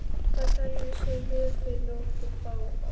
Það kæmi sér vel fyrir okkur báða.